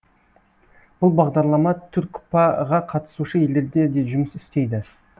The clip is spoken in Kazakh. бұл бағдарлама түркпа ға қатысушы елдерде де жұмыс істейді